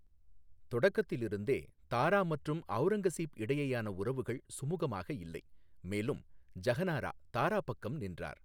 தொடக்கத்திலிருந்தே, தாரா மற்றும் அவுரங்கசீப் இடையேயான உறவுகள் சுமுகமாக இல்லை, மேலும் ஜஹநாரா தாரா பக்கம் நின்றார்.